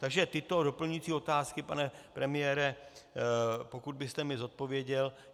Takže tyto doplňující otázky, pane premiére, pokud byste mi zodpověděl.